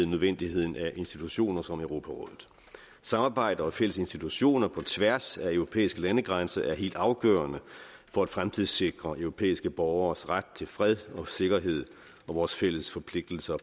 nødvendigheden af institutioner som europarådet samarbejde og fælles institutioner på tværs af europæiske landegrænser er helt afgørende for at fremtidssikre europæiske borgeres ret til fred og sikkerhed og vores fælles forpligtelser